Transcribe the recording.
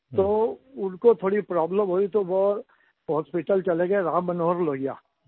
तो उनको थोड़ी प्रोब्लेम हुई तो वो हॉस्पिटल चले गए राम मनोहर लोहिया